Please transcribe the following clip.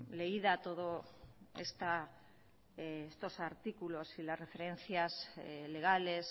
leída toda estos artículos y la referencias legales